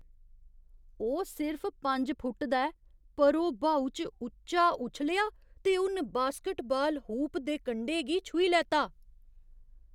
ओह् सिर्फ पंज फुट्ट दा ऐ, पर ओह् ब्हाऊ च उच्चा उच्छलेआ ते उन बास्केटबाल हूप दे कंढे गी छूही लैता।